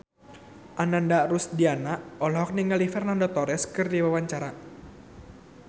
Ananda Rusdiana olohok ningali Fernando Torres keur diwawancara